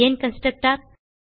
ஏன் கன்ஸ்ட்ரக்டர்